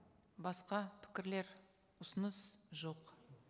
басқа пікірлер ұсыныс жоқ